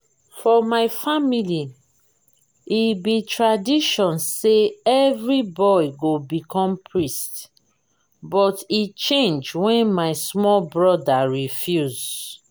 for my family e be tradition say every boy go become priest but e change wen my small broda refuse